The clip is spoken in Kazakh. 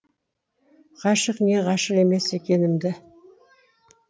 ғашық не ғашық емес екенімді